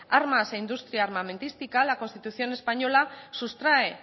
armas e industria armamentística la constitución española sustrae